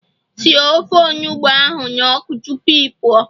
Sie ofe onugbu ahu n'oku tupu ị pụọ